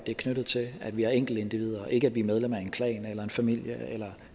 er knyttet til at vi er enkeltindivider og ikke at vi er medlem af en klan eller en familie eller